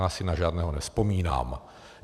Já si na žádného nevzpomínám.